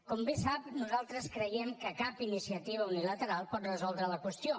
com bé sap nosaltres creiem que cap iniciativa unilateral pot resoldre la qüestió